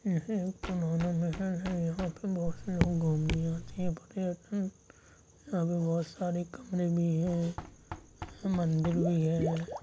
यह एक पुराना महल है यहाँ पे बहुत से लोग घूमने आते है बड़ी यहाँ पे बहुत सारे कमरे भी है मंदिर भी है।